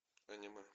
аниме